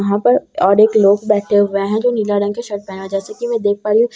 यहां पर ओर एक लोग बैठे हुए हैं जो नीला रंग के शर्ट पहना जैसे कि मैं देख पा रही हूं सामने एक औरत --